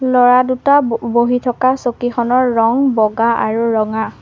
ল'ৰা দুটা ব বহি থকা চকীখনৰ ৰং বগা আৰু ৰঙা।